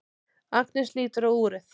Agnes lítur á úrið.